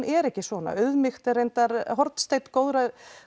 er ekki svona auðmýkt er reyndar hornsteinn góðs